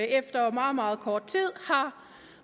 efter meget meget kort tid har